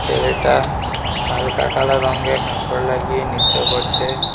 ছেলেটা হালকা কালার রঙ্গে কাপড় লাগিয়ে নিত্য করছে।